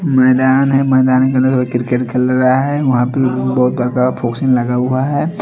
मैदान है मैदान के अंदर क्रिकेट खेल रहा है वहा पे लगा हुआ है।